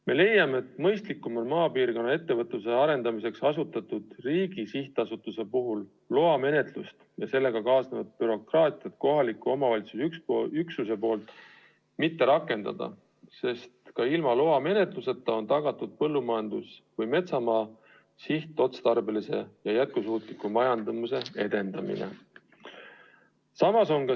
Me leiame, et mõistlikum on maapiirkonna ettevõtluse arendamiseks asutatud riigi sihtasutuse puhul loamenetlust ja sellega kaasnevat bürokraatiat kohaliku omavalitsuse üksusel mitte rakendada, sest ka ilma loamenetluseta on tagatud põllumajandus- ja metsamaa sihtotstarbelise ja jätkusuutliku majandamise edendamine.